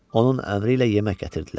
Onun əmri ilə yemək gətirdilər.